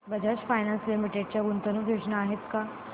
Bajaj finance limited च्या गुंतवणूक योजना आहेत का